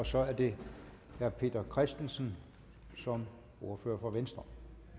så er det herre peter christensen som ordfører for venstre